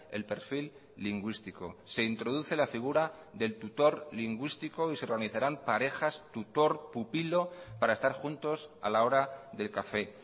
el perfil lingüístico se introduce la figura del tutor lingüístico y se organizarán parejas tutor pupilo para estar juntos a la hora del café